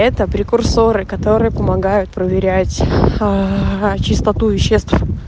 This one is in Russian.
это прекурсоры которые помогают проверять чистоту веществ